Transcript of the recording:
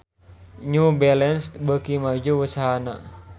New Balance beuki maju usahana